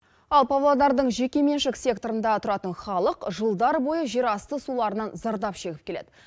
ал павлодардың жекеменшік секторында тұратын халық жылдар бойы жерасты суларынан зардап шегіп келеді